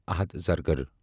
Ahad Zargar